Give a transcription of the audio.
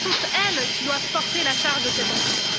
Ce sont elles qui doivent porter la charge de cet emprunt.